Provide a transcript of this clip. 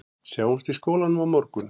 Sjáumst í skólanum á morgun